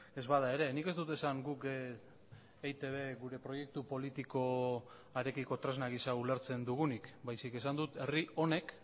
ez bada ere nik ez dut esan guk eitb gure proiektu politikoarekiko tresna gisa ulertzen dugunik baizik esan dut herri honek